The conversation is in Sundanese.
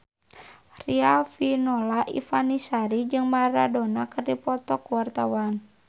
Riafinola Ifani Sari jeung Maradona keur dipoto ku wartawan